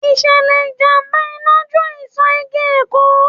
Ìṣẹ̀lẹ̀ ìjàmbá Iná jó ìsò igi Èkó.